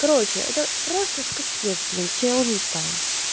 короче это просто это капец блин все я уже устала